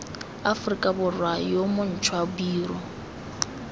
aforika borwa yo montšhwa biro